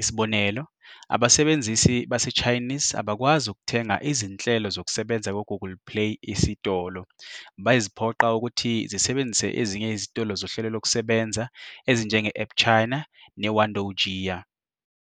Isibonelo, abasebenzisi baseChinese abakwazi ukuthenga izinhlelo zokusebenza ku-Google Play Isitolo, beziphoqa ukuthi zisebenzise ezinye izitolo zohlelo lokusebenza ezinjenge-AppChina neWandoujia.